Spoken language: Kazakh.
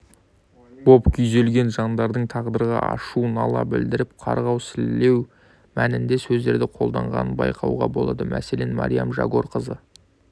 боп күйзелген жандардың тағдырға ашу-нала білдіріп қарғау-сілеу мәнінде сөздерді қолданғанын байқауға болады мәселен мариям жагорқызы